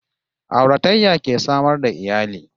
Auratayya ke samar da iyali